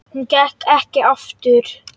Hún gekk ekki aftur.